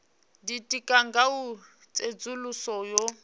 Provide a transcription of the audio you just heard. ditika nga u tsedzuluso yo